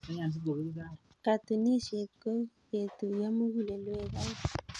Katunisyet ko ketuiyo mugulelweek aeng.